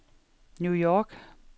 New York